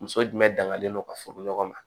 Muso jumɛn danganen do ka furu ɲɔgɔn ma